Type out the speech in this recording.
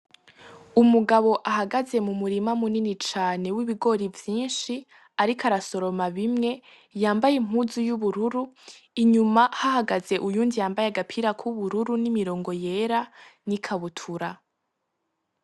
Umugabo ahagaze mu murima munini cane w'ibigori vyinshi, ariko arasoroma bimwe yambaye impuzu y'ubururu inyuma hahagaze uyu ndi yambaye agapira kw'ubururu n'imirongo yera n'i kabutura.